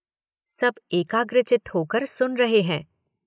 सब एकाग्रचित्त होकर सुन रहे हैं